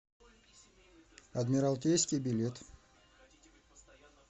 адмиралтейский билет